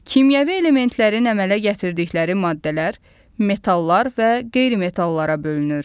Kimyəvi elementlərin əmələ gətirdikləri maddələr, metallar və qeyri-metallara bölünür.